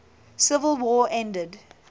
civil war ended